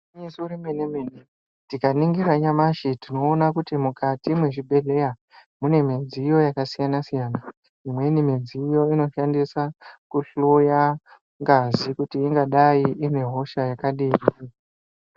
Nemeso rememe tikaningira nyamashi tinoona kuti mukati mezvibhedhlera mune midziyo yakasiyana-siyana imweni midziyo inoshandisa kuhloya ngazi kuti ingadai ine hosha yakadini.